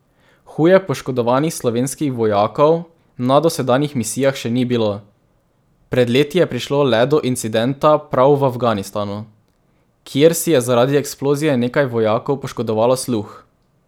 Huje poškodovanih slovenskih vojakov na dosedanjih misijah še ni bilo, pred leti je prišlo le do incidenta prav v Afganistanu, kjer si je zaradi eksplozije nekaj vojakov poškodovalo sluh.